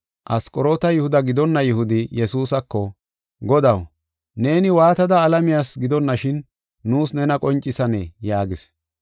Asqoroota Yihuda gidonna Yihudi Yesuusako, “Godaw, neeni waatada alamiyas gidonashin nuus nena qoncisanee?” yaagis.